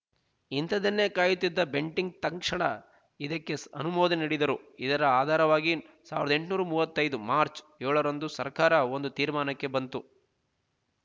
ಇಂಥದನ್ನೆ ಕಾಯುತ್ತಿದ್ದ ಬೆಂಟಿಂಕ್ ತಕ್ಷಣ ಇದಕ್ಕೆ ಅನುಮೋದನೆ ನೀಡಿದನು ಇದರ ಆಧಾರವಾಗಿ ಸಾವಿರದ ಎಂಟುನೂರ ಮೂವತ್ತೈದು ಮಾರ್ಚ ಏಳರಂದು ಸರಕಾರ ಒಂದು ತೀರ್ಮಾನಕ್ಕೆ ಬಂತು